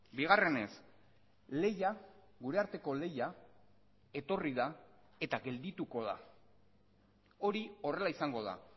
bigarrenez lehia gure arteko lehia etorri da eta geldituko da hori horrela izango da